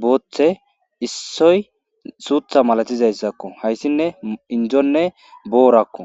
booththe issoy suutha malatizayssakko hayssinne indonne boorakko.